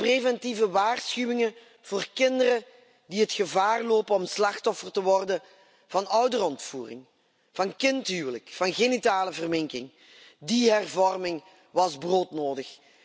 De preventieve waarschuwingen voor kinderen die het gevaar lopen slachtoffer te worden van een ouderontvoering, van een kindhuwelijk of van genitale verminking. Die hervorming was broodnodig.